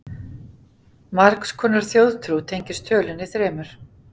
Margs konar þjóðtrú tengist tölunni þremur.